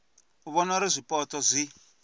u vhona uri zwipotso zwi